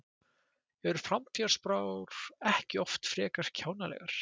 Eru framtíðarspár ekki oft frekar kjánalegar?